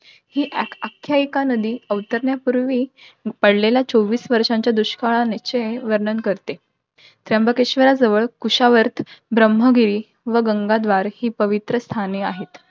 ही आख्यायिका नदी अवतरण्यापूर्वी, पडलेल्या चोवीस वर्षांच्या दुष्काळाने~ चे वर्णन करते. त्र्यंबकेश्वर जवळ कुशावर्त, ब्रम्हगिरी व गंगाद्वार ही पवित्र स्थाने आहेत.